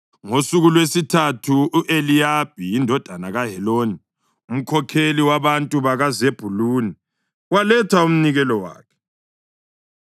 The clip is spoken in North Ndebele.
Ngosuku lwesithathu, u-Eliyabi indodana kaHeloni, umkhokheli wabantu bakaZebhuluni, waletha umnikelo wakhe.